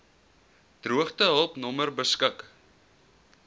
droogtehulp nommer beskik